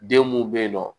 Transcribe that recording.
Den mun be yen nɔ